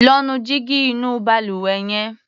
Lọ́ nu jígí inú balùwẹ̀ yẹn.